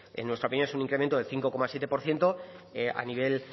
en nuestra opinión es un incremento de cinco coma siete por ciento a nivel